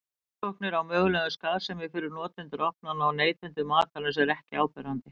Rannsóknir á mögulegri skaðsemi fyrir notendur ofnanna og neytendur matarins eru ekki áberandi.